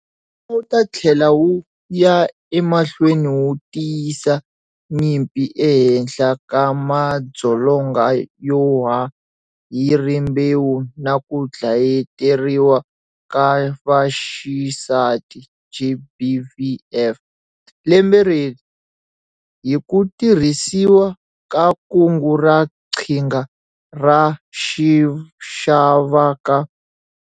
Wu ta tlhela wu ya emahlweni wu tiyisa nyimpi ehenhla ka madzolonga yo ya hi Rimbewu na ku Dlayeteriwa ka Vaxisati, GBVF, lembe leri, hi ku tirhisiwa ka Kungu ra Qhinga ra xixavaka.